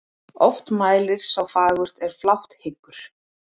Oft mælir sá fagurt er flátt hyggur.